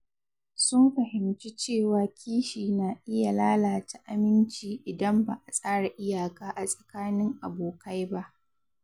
Sun fahimci cewa kishi na iya lalata aminci idan ba a tsara iyaka a tsakanin abokai ba.